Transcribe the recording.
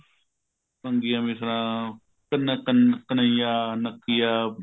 ਭੰਗੀਆਂ ਮਿਸਲਾਂ ਘਨ ਘਨਇਆ ਨੱਕਿਆ